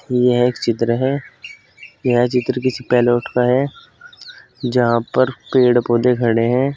यह एक चित्र है। यह चित्र किसी का है जहां पर पेड़ पौधे खड़े है।